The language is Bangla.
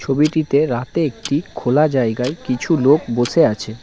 ছবিটিতে রাতে একটি খোলা জায়গায় কিছু লোক বসে আছে।